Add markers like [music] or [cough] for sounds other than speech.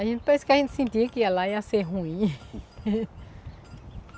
A gente pensou que a gente ia sentir que ia lá ia ser ruim. [laughs]